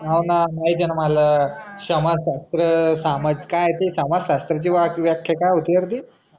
हो ना माहिती आहे ना माला समाजशस्त्र सामाजिक काय आहे ते समाजशास्त्र त्याची व्याख्या काय होती यार ती